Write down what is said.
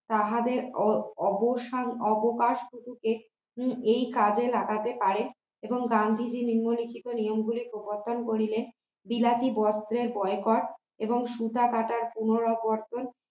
তাহাদের অবসর অবকাশ টুকুতে এই কাজে লাগাতে পারে এবং গান্ধীজি নিম্নলিখিত নিয়মগুলি প্রবর্তন করিলে বিলাতি বস্ত্রের বয়কট এবং সুতা কাটা পুনরাবর্তে